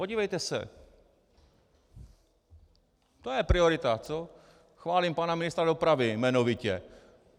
Podívejte se, to je priorita, co? Chválím pana ministra dopravy, jmenovitě.